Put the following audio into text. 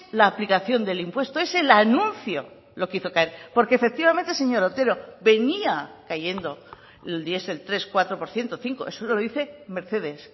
la aplicación del impuesto es el anuncio lo que hizo caer porque efectivamente señor otero venía cayendo el diesel tres cuatro por ciento cinco eso lo dice mercedes